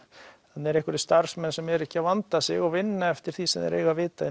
þarna eru einhverjir starfsmenn sem eru ekki að vanda sig og vinna eftir því sem þeir eiga að vita